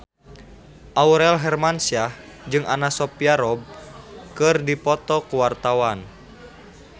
Aurel Hermansyah jeung Anna Sophia Robb keur dipoto ku wartawan